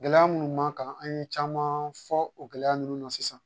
Gɛlɛya minnu b'an kan an ye caman fɔ o gɛlɛya ninnu na sisan